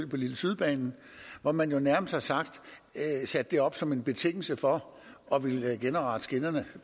på lille syd banen hvor man nærmest har sat det op som en betingelse for at ville genoprette skinnerne